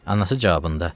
Anası cavabında: